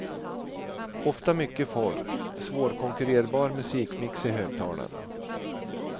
Ofta mycket folk, svårkonkurrerbar musikmix i högtalarna.